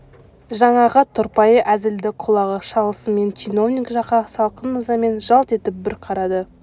жаңағы тұрпайы әзілді құлағы шалысымен чиновник жаққа салқын ызамен жалт етіп бір қарады